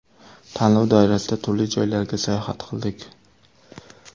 Tanlov doirasida turli joylarga sayohat qildik.